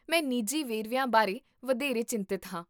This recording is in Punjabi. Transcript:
ਮੈਂ ਨਿੱਜੀ ਵੇਰਵਿਆਂ ਬਾਰੇ ਵਧੇਰੇ ਚਿੰਤਤ ਹਾਂ